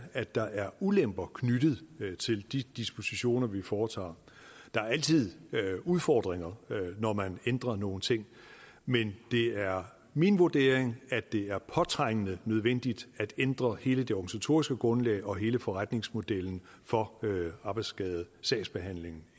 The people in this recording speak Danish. at der er ulemper knyttet til de dispositioner vi foretager der er altid udfordringer når man ændrer nogle ting men det er min vurdering at det er påtrængende nødvendigt at ændre hele det organisatoriske grundlag og hele forretningsmodellen for arbejdsskadesagsbehandlingen